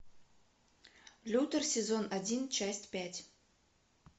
лютер сезон один часть пять